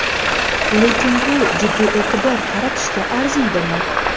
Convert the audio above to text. Lekin bu jiddiy e’tibor qaratishga arziydimi?